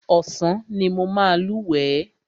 Ọ̀sán ni mo máa lúwẹ̀ẹ́.